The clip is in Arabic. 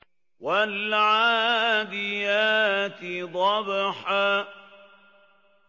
وَالْعَادِيَاتِ ضَبْحًا